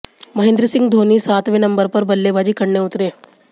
महेंद्र सिंह धोनी सातवें नंबर पर बल्लेबाजी करने उतरे